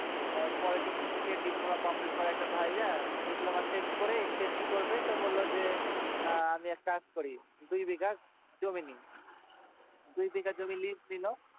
আহ polytechical কে diploma complete করা ভাইয়া diploma শেষ করে সে কি করবে তো বললো যে আমি একটা কাজ করি দুই বিঘা জমি নি দুই বিঘা জমি liz নিলো